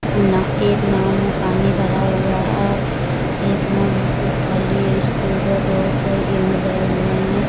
एक नांव में पानी भरा हुआ है और एक नाव बिल्कुल खाली है इसके उधर बहोत सारे गेहूं भरे हुए हैं।